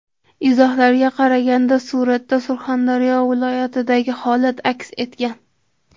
Izohlarga qaraganda, suratda Surxondaryo viloyatidagi holat aks etgan.